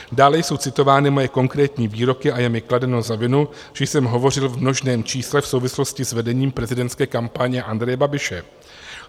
Dále jsou citovány moje konkrétní výroky a je mi kladeno za vinu, že jsem hovořil v množném čísle v souvislosti s vedením prezidentské kampaně Andreje Babiše.